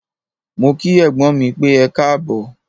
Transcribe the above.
Mó kí ẹ̀gbọ́n mí pẹ́, ẹkáàbọ̀.